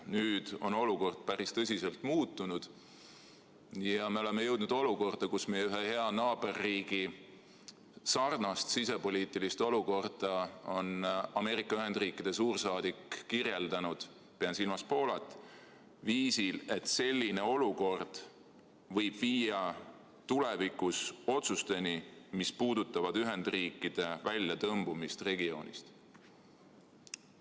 Nüüd on olukord päris tõsiselt muutunud ja me oleme jõudnud olukorda, kus meie ühe hea naaberriigi – pean silmas Poolat – sisepoliitilist olukorda on Ameerika Ühendriikide suursaadik kirjeldanud viisil, et selline olukord võib tulevikus viia otsusteni, mis puudutavad Ühendriikide väljatõmbumist regioonist.